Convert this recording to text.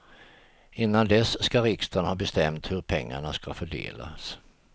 Innan dess ska riksdagen ha bestämt hur pengarna ska fördelas.